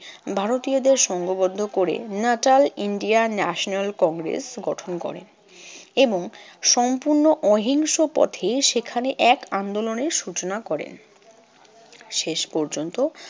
ভারতীয়দের সংঘবদ্ধ করে natal indian national congress গঠন করে এবং সম্পূর্ণ অহিংসপথী। সেখানে এক আন্দোলনের সূচনা করেন। শেষ পর্যন্ত